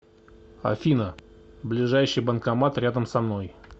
афина ближайший банкомат рядом со мной